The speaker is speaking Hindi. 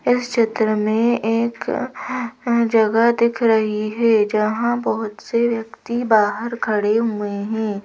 इस चित्र में एक जगह दिख रही है जहां बहुत से व्यक्ति बाहर खड़े हुए हैं।